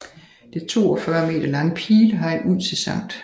Det 42 meter lange pilehegn ud til Sct